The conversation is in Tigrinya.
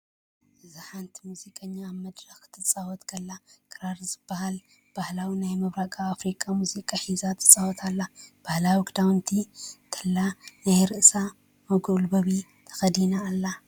እዚ ሓንቲ ሙዚቀኛ ኣብ መድረኽ ክትፃወት ከላ ክራር ዝብሃል ባህላዊ ናይ ምብራቕ ኣፍሪቃ ሙዚቃ ሒዛ ትጻወት ኣላ። ባህላዊ ኽዳውንቲ እንተላይ ናይ ርእሳ መጐልበቢ ተኸዲና ኣላ።